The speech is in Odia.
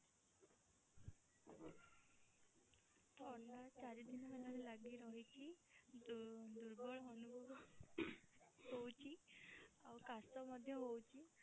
ଥଣ୍ଡା ଚାରି ଦିନ ହେଲାଣି ଲାଗି ରହିଛି ଦୁ ଦୁର୍ବଳ ଅନୁଭବ ହଉଛି ଆଉ କାସ ମଧ୍ୟ ହଉଛି।